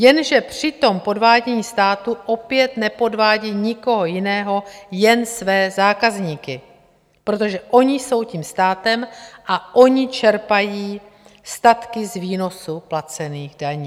Jenže při tom podvádění státu opět nepodvádí nikoho jiného, jen své zákazníky, protože oni jsou tím státem a oni čerpají statky z výnosu placených daní.